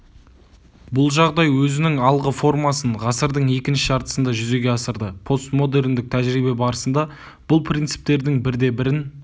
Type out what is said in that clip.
бұл жағдай өзінің алғы формасын ғасырдың екінші жартысында жүзеге асырды постмодерндік тәжірибе барысында бұл принциптердің бірде-бірін